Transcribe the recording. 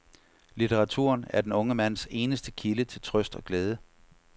Litteraturen er den unge mands eneste kilde til trøst og glæde.